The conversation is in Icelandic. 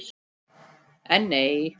En nei.